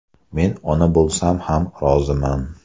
Men ona bo‘lsam ham, roziman.